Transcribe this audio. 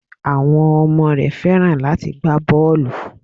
Àwọn ọmọ rẹ Fẹ́ràn láti gbá bọ́ọlù.